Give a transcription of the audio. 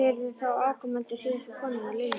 Og eruð þið þá afkomendur síðustu konunnar, Lilju?